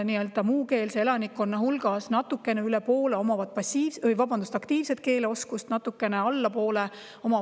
Muukeelsest elanikkonnast natukene üle pooltel on aktiivne keeleoskus, natukene alla pooltel passiivne keeleoskus.